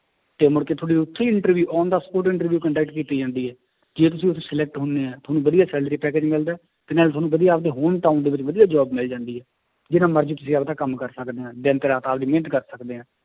ਤੇ ਕਿ ਤੁਹਾਡੀ ਉੱਥੇ ਹੀ interview on the spot interview conduct ਕੀਤੀ ਜਾਂਦੀ ਹੈ, ਜੇ ਤੁਸੀਂ ਉੱਥੇ select ਹੁੰਦੇ ਹੈ ਤੁਹਾਨੂੰ ਵਧੀਆ salary package ਮਿਲਦਾ ਹੈ ਤੇ ਨਾਲ ਤੁਹਾਨੂੰ ਆਪਦੇ home town ਦੇ ਵਿੱਚ ਵਧੀਆ job ਮਿਲ ਜਾਂਦੀ ਹੈ, ਜਿੰਨਾ ਮਰਜ਼ੀ ਤੁਸੀਂ ਆਪਦਾ ਕੰਮ ਕਰ ਸਕਦੇ ਹਾਂ ਦਿਨ ਮਿਹਨਤ ਕਰ ਸਕਦੇ ਹਾਂ